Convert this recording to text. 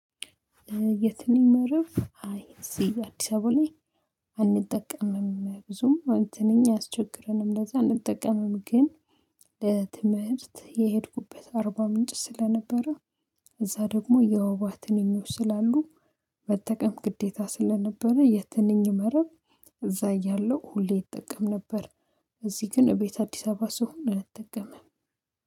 የትንኝ መረብ አይ እዚህ አዲስ አበባ ላይ አንጠቀምም ብዙም ትንኝ አያስቸግረንም ለዛ አንጠቀምም ግን። ለትምህርት የሄድኩበት አርባ ምንጭ ስለነበረ እዛ ደግሞ የወባ ትንኞች ስላሉ መጠቀም ግዴታ ስለነበረ የትንኝ መረብ እዛ እያለሁ ሁሌ እጠቀም ነበር። እዚህ ግን ቤት አዲስ አበባ ስሆን አልጠቀምም